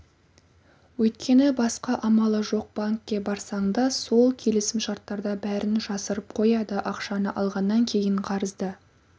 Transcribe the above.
өйткені басқа амалы жоқ банкке барсаң да сол келісімшарттарда бәрін жасырып қояды ақшаны алғаннан кейін қарызды